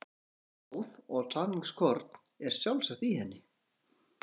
Sagan er góð og sannleikskorn er sjálfsagt í henni.